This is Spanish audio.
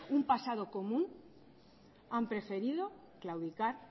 un pasado común han preferido claudicar